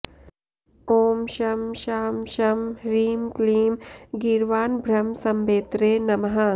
ॐ शं शां षं ह्रीं क्लीं गीर्वाणभ्रमसम्भेत्रे नमः